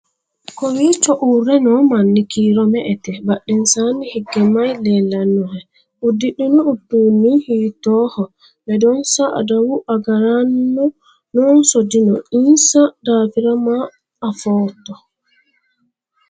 kowiichho uurre noo manni kiiro me"ete badhensaanni hige maye leellannohe? uddidhino uduunni hiittooho? ledonsa adawu agaraano noonso dino? insa daafira ma footto?